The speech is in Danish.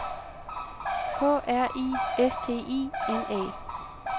K R I S T I N A